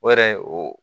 O yɛrɛ o